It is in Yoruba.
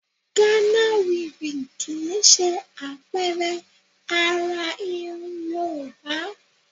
Ghana weaving kì í ṣe àpẹẹrẹ àrà irun Yorùbá